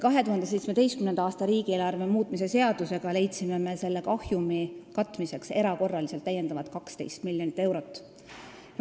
2017. aasta riigieelarve muutmise seadusega leidsime me selle kahjumi katmiseks erakorraliselt täiendavad 12 miljonit eurot.